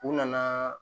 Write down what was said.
U nana